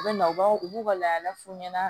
U bɛ na u b'a u b'u ka laadalafu ɲɛna